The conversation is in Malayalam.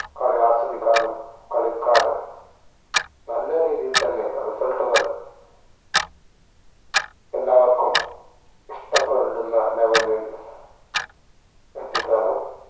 കളി ആസ്വദിക്കാനും കളിക്കാനും നല്ല രീതിയിൽ തന്നെ result കൾ എല്ലാവർക്കും ഇഷ്ട്ടപ്പെടുന്ന level ഇൽ എത്തിക്കാനും